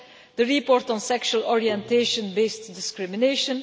through the report on sexual orientation based discrimination